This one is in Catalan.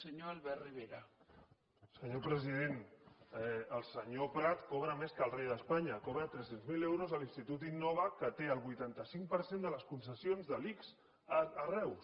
senyor president el senyor prat cobra més que el rei d’espanya cobra tres cents miler euros a l’institut innova que té el vuitanta cinc per cent de les concessions de l’ics a reus